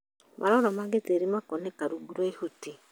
Maroro ma gĩtĩri makonekana rungu rwa ihuti